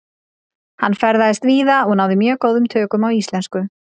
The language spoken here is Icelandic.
Hann ferðaðist víða og náði mjög góðum tökum á íslensku.